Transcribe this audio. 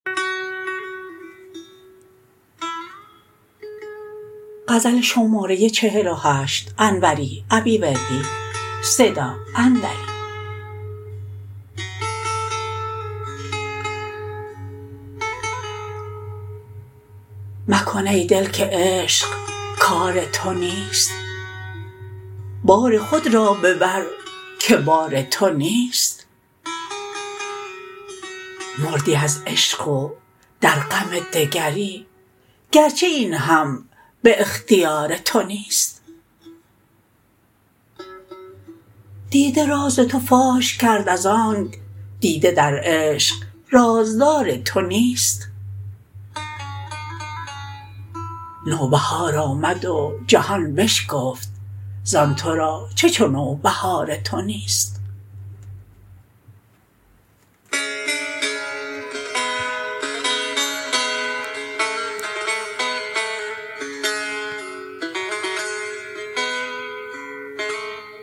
مکن ای دل که عشق کار تو نیست بار خود را ببر که بار تو نیست مردی از عشق و در غم دگری گرچه این هم به اختیار تو نیست دیده راز تو فاش کرد ازآنک دیده در عشق رازدار تو نیست نوبهار آمد و جهان بشکفت زان ترا چه چو نوبهار تو نیست